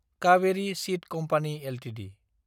Kaveri seed company Ltd